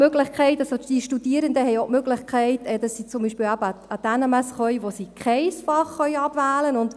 Die Studierenden haben auch die Möglichkeit, dass sie zum Beispiel eben an die NMS gehen können, an der sie kein Fach abwählen können.